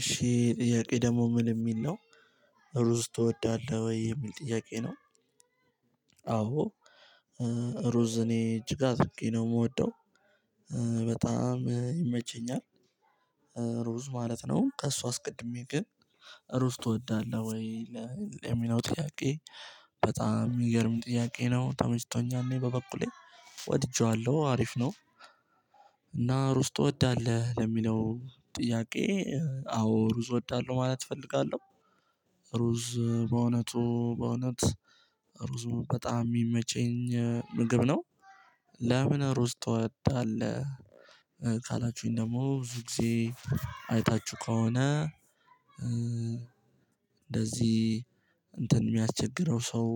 እሺ ጥያቄ ደግሞ ምን የሚል ነው። ሩዝ ትወዳለህ ወይ የሚል ጥያቄ ነው። አዎ ሩዝ እኔ እጅግ አድርጌ ነው የምወደው። በጣም ይመቸኛል። ሩዝ ማለት ነው። ከእሷ አስቀድሜ ግን ሩዝ ትወዳለህ ወይ? ለሚለው ጥያቄ በጣም የሚገርም ጥያቄ ነው ተመችቶኛል እኔ በበኩሌ ወድጄዋለሁ አሪፍ ነው። እና ሩስ ትወዳለህ ለሚለው ጥያቄ አዎ ሩዝ እወዳለሁ ማለት እፈልጋለሁ። ሩዝ በእውነቱ በእውነት ሩዝ በጣም የሚመቸኝ ምግብ ነው። ለምን ሩዝ ትወዳለህ? ካላችሁኝ ደግሞ ብዙ ጊዜ አይታችሁ ከሆነ። እንደዚህ እንትን የሚያስቸግረው ሰው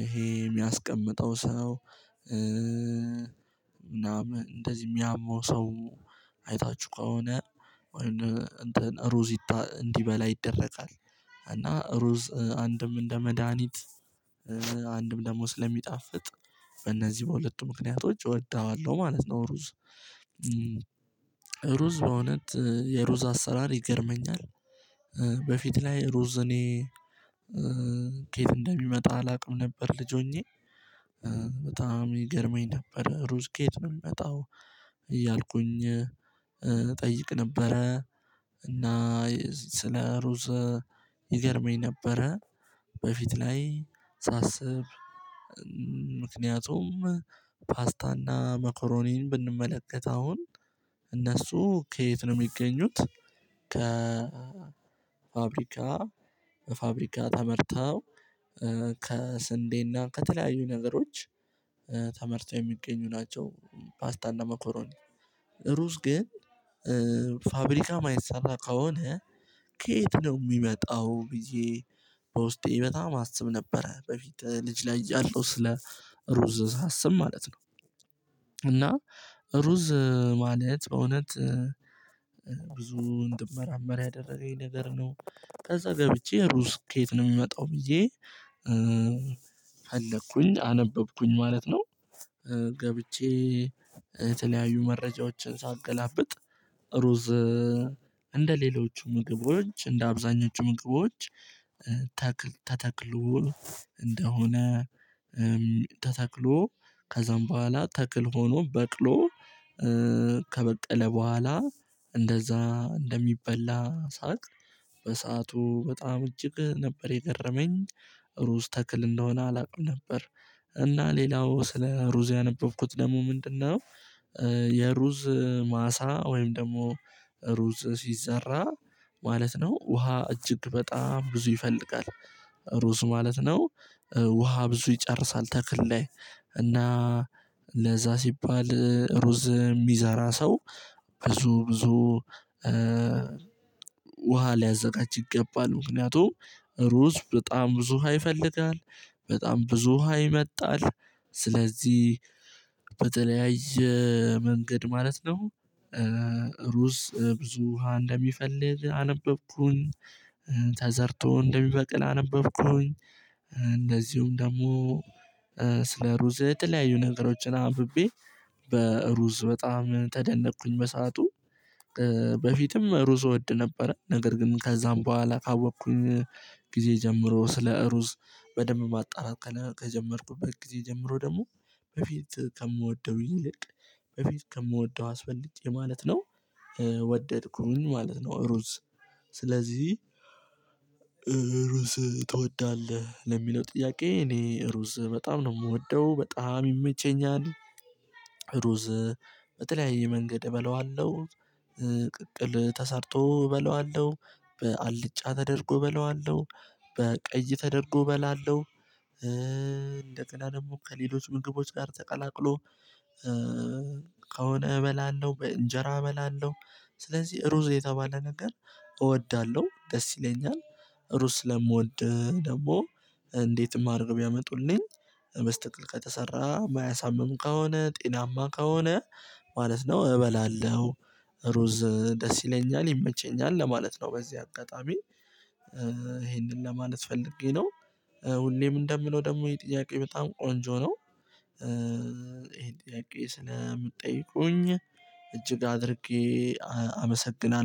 ይሄ የሚያስቀምጠው ሰው። ምናምን እንደዚህ የሚያመው ሰው አይታችሁ ከሆነ ወይም እንትን ሩዚታ እንዲበላ ይደረጋል። እና ሩዝ አንድም እንደ መድሃኒት አንድም ደግሞ ስለሚጣፍጥ በእነዚህ በሁለቱ ምክንያቶች እወደዋለሁ ማለት ነው። ሩዝ በእውነት የሩዝ አሰራር ይገርመኛል። በፊት ላይ ሩዝ እኔ ኬት እንደሚመጣ አላውቅም ነበር። ልጅ ሆኜ በጣም ይገርመኝ ነበር ሩዝ ከየት ነው የምመጣው እያልኩኝ እጠይቅ ነበረ። ስለ ሩዝ ይገርመኝ ነበረ። በፊት ላይ ሳስብ ምክንያቱም ፓስታና መኮሮኒን ብንመለከት አሁን እነሱ ከየት ነው የሚገኙት? ከፋብሪካ ፋብሪካ ተመርተው ከስንዴና ከተለያዩ ነገሮች ተመርው የሚገኙ ናቸው። ፓስታና መኮሮኒ ሩስ ግን ፋብሪካ ማይሰራ ከሆነ። ከየት ነው የሚመጣው ብዬ በውስጤ በጣም አስብ ነበረ በፊት ልጅ ላይ ያለው ስለ ሩዝ ሳስብ ማለት ነው። እና ሩዝ ማለት በእውነት ብዙ እንድመራመር ያደረገኝ ነገር ነው። ከዛ ገብቼ ሩዝ ከየት ነው የሚመጣው ብዬ ፈለኩኝ አነበብኩኝ ማለት ነው። ገብቼ የተለያዩ መረጃዎችን ሳገላብጥ ሩዝ እንደሌሎቹ ሌሎቹ ምግቦች እንደ አብዛኞቹ ምግቦች። ተተክሎ እንደሆነ ተተክሎ ከዛም በኋላ ተክል ሆኖ በቅሎ ከበቀለ በኋላ እንደዛ እንደሚበላ ሳቅ። በሰአቱ በጣም እጅግ ነበር የገረመኝ ሩዝ ተክል እንደሆነ አላውቅም ነበር። እና ሌላው ስለ ሩዝ ያነበብኩት ደግሞ ምንድነው? የሩዝ ማሳ ወይም ደግሞ ሩዝ ሲዘራ ማለት ነው ውሃ እጅግ በጣም ብዙ ይፈልጋል። ሩዝ ማለት ነው ውሃ ብዙ ይጨርሳል ተክል ላይ። እና ለዛ ሲባል ሩዝ የሚዛራ ሰው ብዙ ብዙ ውሃ ሊያዘጋጅ ይገባል። ምክንያቱም ሩዝ በጣም ብዙ ውሃ ይፈልጋል። በጣም ብዙ ውሃ ይመጣል ስለዚህ በተለያየ መንገድ ማለት ነው። ሩስ ብዙ ውሃ እንደሚፈልግ አነበብኩኝ። ተዘርቶ እንደሚበቅል አነበብኩኝ። እንደዚሁም ደግሞ ስለ ሩዝ የተለያዩ ነገሮችን አንብቤ በሩዝ በጣም ተደነቅኩኝ በሰአቱ። በፊትም ሩዝ እወድ ነበረ ነገር ግን ከዛም በኋላ ካወቅኩኝ ጀምሮ ስለ እሩዝ በደንብ ማጣራት ከጀመርኩበት ጊዜ ጀምሮ ደግሞ በፊት ከምወደው ይልቅ በፊት ከምወደው አስፈልጬ ማለት ነው። ወደድኩኝ ማለት ነው። ስለዚህ ሩዝ ትወዳለህ ለሚለው ጥያቄ እኔ ሩዝ በጣም ነው የምወደው በጣም ይመቸኛል። ሩዝ በተለያየ መንገድ እበለዋለሁ። ቅቅል ተሰርቶ እበለዋለሁ በአልጫ ተደርጎ እበለዋለሁ። በቀይ ተደርጎ በላለሁ። እንደቀላለም ከሌሎች ምግቦች ጋር ተቀላቅሎ ከሆነ እበላለሁ በእንጀራ እበላለሁ። ስለዚህ ሩዝ የተባለ ነገር እወዳለሁ ደስ ይለኛል። ሩስ ለምወድህ ደግሞ እንዴትም አረግወ ቢያመጡልኝ መስተቅል ከተሰራ ማያሳምም ከሆነ ጤናማ ከሆነ ማለት ነው እበላለሁ። ሩዝ ደስ ይለኛል ይመቸኛል ለማለት ነው በዚህ አጠጣሚ ይሄንን ለማለት ፈልጌ ነው። ሁሌም እንደምለው ደግሞ ይሄ ጥያቄ በጣም ቆንጆ ነው። ይሄን ጥያቄ ስለምጠይቁኝ እጅግ አድርጌ አመሰግናለሁ